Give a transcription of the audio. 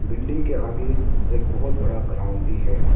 Building के आगे एक बहोत बड़ा ग्राउंड भी है।